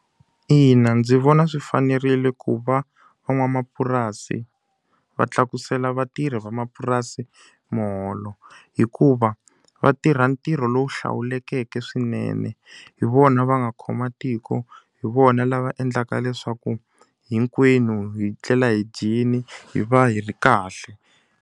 Ina ndzi vona swi fanerile ku va van'wamapurasi va tlakusela vatirhi vamapurasi muholo, hikuva va tirha ntirho lowu wu hlawulekeke swinene. Hi vona va nga khoma tiko, hi vona lava endlaka leswaku hinkwenu hi tlela hi dyile, hi va hi ri kahle.